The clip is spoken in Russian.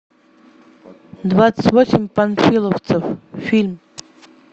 двадцать восемь панфиловцев фильм